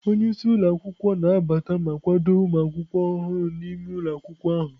Onye isi ụlọ akwụkwọ na-anabata ma kwado ụmụ akwụkwọ ọhụrụ n'ime ụlọ akwụkwọ ahụ.